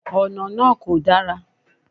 Ònà náà kò dára